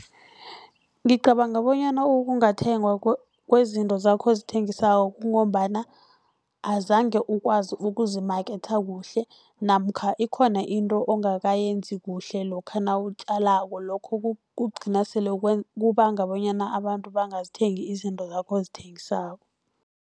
Ngicabanga bonyana okungathengwa kwezinto zakho ozithengisako, kungombana azange ukwazi ukuzimaketha kuhle, namkha ikhona into ongakayenzi kuhle lokha nawutjalako. Lokho kugcina sele kubanga bonyana abantu bangazithengi izinto zakho ozithengisako.